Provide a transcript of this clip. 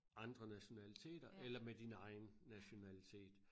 Andre nationaliteter eller med din egen nationalitet